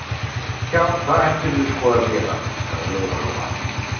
Já, það ættirðu sko að gera, sagði Lóa Lóa.